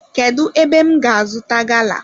Kedu ébé m ga azuta gala?